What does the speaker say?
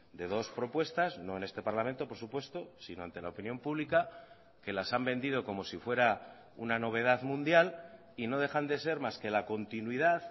de dos propuestas no en este parlamento por supuesto sino ante la opinión pública que las han vendido como si fuera una novedad mundial y no dejan de ser más que la continuidad